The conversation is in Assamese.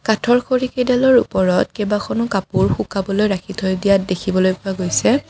কাঠৰ খৰি কেইডালৰ ওপৰত কেইবাখনো কাপোৰ শুকাবলৈ ৰাখি থৈ দিয়া দেখিবলৈ পোৱা গৈছে।